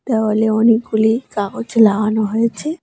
দেওয়ালে অনেকগুলি কাগজ লাগানো হয়েছে।